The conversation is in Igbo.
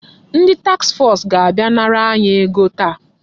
Ndị taks fọs ga-abịa nara anyị ego taa.